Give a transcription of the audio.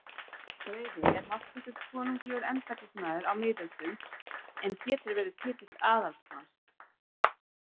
Greifi er háttsettur konunglegur embættismaður á miðöldum, en getur verið titill aðalsmanns.